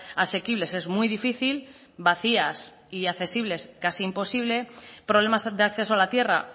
asequibles es muy difícil vacías y accesibles casi imposible problemas de acceso a la tierra